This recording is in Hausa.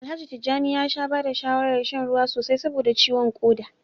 Alhaji Tijjani ya sha ba da shawarar shan ruwa sosai saboda ciwon koda